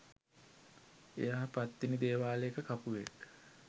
එයා පත්තිනි දේවාලයක කපුවෙක්